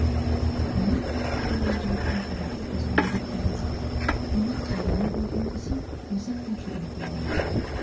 мана ат тағалаған жігіттің суреті көзіме оттай басылды оны қайдан көрдім десем осы кітапшадан көрген екенмін